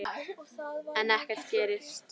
En ekkert gerist.